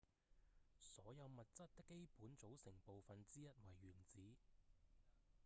所有物質的基本組成部分之一為原子